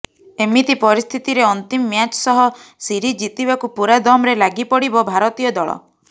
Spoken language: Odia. ଏମିତି ପରିସ୍ଥିତିରେ ଅନ୍ତିମ ମ୍ୟାଚ୍ ସହ ସିରିଜ୍ ଜିତିବାକୁ ପୂରା ଦମ୍ରେ ଲାଗି ପଡ଼ିବ ଭାରତୀୟ ଦଳ